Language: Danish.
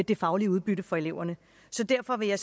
det faglige udbytte for eleverne så derfor vil jeg